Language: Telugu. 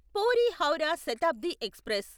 పూరి హౌరా శతాబ్ది ఎక్స్ప్రెస్